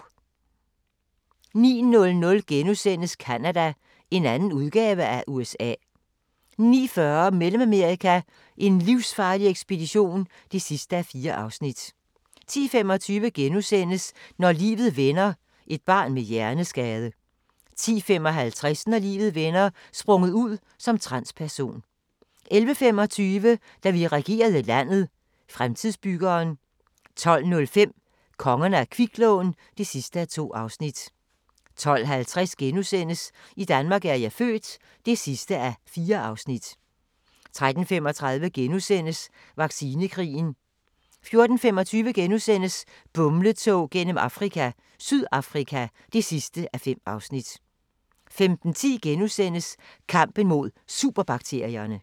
09:00: Canada – en anden udgave af USA * 09:40: Mellemamerika: en livsfarlig ekspedition (4:4) 10:25: Når livet vender: Et barn med hjerneskade * 10:55: Når livet vender: Sprunget ud som transperson 11:25: Da vi regerede landet – Fremtidsbyggeren 12:05: Kongerne af kviklån (2:2) 12:50: I Danmark er jeg født (4:4)* 13:35: Vaccinekrigen * 14:25: Bumletog gennem Afrika – Sydafrika (5:5)* 15:10: Kampen mod superbakterierne *